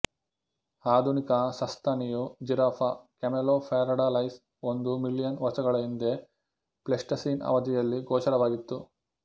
ಆಧುನಿಕ ಸಸ್ತನಿಯು Giraffa camelopardalis ಒಂದು ಮಿಲಿಯನ್ ವರ್ಷಗಳ ಹಿಂದೆ ಪ್ಲೇಸ್ಟಸೀನ್ ಅವಧಿಯಲ್ಲಿ ಗೋಚರವಾಗಿತ್ತು